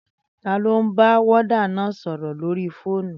Taló ń bá wọ́ọ́dà náà sọ̀rọ̀ lórí fóònù?